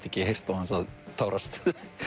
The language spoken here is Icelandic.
ekki heyrt án þess að tárast